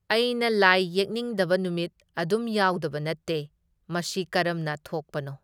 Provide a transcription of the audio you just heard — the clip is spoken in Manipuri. ꯑꯩꯅ ꯂꯥꯏ ꯌꯦꯛꯅꯤꯡꯗꯕ ꯅꯨꯃꯤꯠ ꯑꯗꯨꯝ ꯌꯥꯎꯗꯕ ꯅꯠꯇꯦ, ꯃꯁꯤ ꯀꯔꯝꯅ ꯊꯣꯛꯄꯅꯣ ?